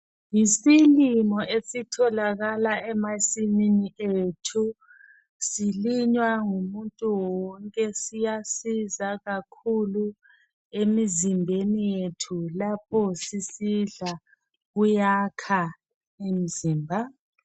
Yisilimo esitholakala emasimini ethu silinywa ngumuntu wonke siyasiza kakhulu emzimbeni yethu lapho sisidla kuyakha umzimba.